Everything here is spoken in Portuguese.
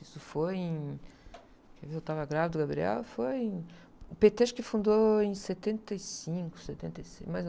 Isso foi em... Eu estava grávida do, foi em... O pê-tê acho que fundou em setenta e cinco, setenta e seis, mais ou...